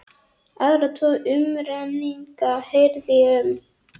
Aðra tvo umrenninga heyrði ég um.